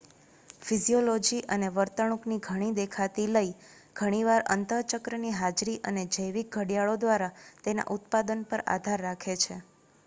physiology અને વર્તણૂકની ઘણી દેખાતી લય ઘણીવાર અંત:ચક્રની હાજરી અને જૈવિક ઘડિયાળો દ્વારા તેના ઉત્પાદન પર આધાર રાખે છે